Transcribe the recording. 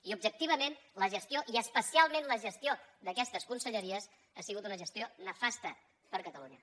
i objectivament la gestió i especialment la gestió d’aquestes conselleries ha sigut una gestió nefasta per a catalunya